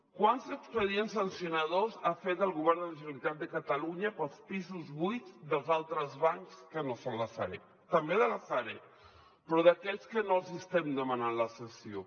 quants expedients sancionadors ha fet el govern de la generalitat de catalunya pels pisos buits dels altres bancs que no són la sareb també de la sareb però d’aquells que no els hi estem demanant la cessió